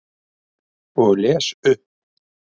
Og les upp.